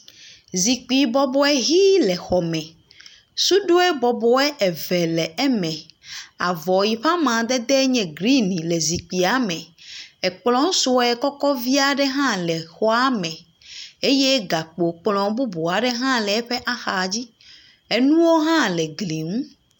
Zikpi bɔbɔ ʋi le xɔme. Suɖoe bɔbɔe eve le eme. Avɔ yi ƒe amadede nye grini le zikpia me. Ekplɔ̃ sue kɔkɔ vi aɖe hã le xɔa me eye gakpokplɔ̃ bubu aɖe hã le eƒe axa dzi. Enuwo hã le gli ŋu.